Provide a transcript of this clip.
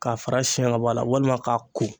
K'a fara siɲɛ ka bɔ a la walima k'a ko.